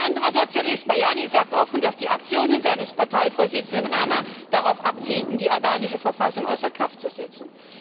Ein anderer Sozialist, Manani, sagt offen, dass die Aktionen seines Parteivorsitzenden Rama darauf abzielten, die albanische Verfassung außer Kraft zu setzen.